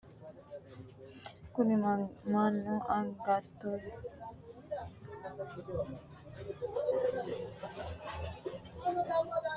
kuni mannu angatenninso mayiinni loosannorichoot? kuni haqqunni loonsoonni cui manchu beettira mayi hor aanno? mannu togo asse horonsira jammarinohu mamaro hanafeeti?